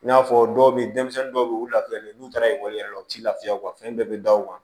I n'a fɔ dɔw be yen denmisɛnnin dɔw be yen u lafiyalen n'u taara ekɔli la u ti lafiya o kan fɛn bɛɛ be da u kan